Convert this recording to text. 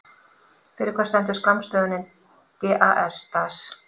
Fyrir hvað stendur skammstöfunin DAS?